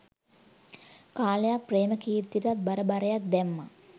කාලයක් ප්‍රේමකීර්තිටත් බර බරයක් දැම්මා